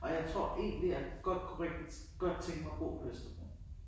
Og jeg tror egentlig jeg kunne godt rigtig godt tænke mig at bo på Østerbro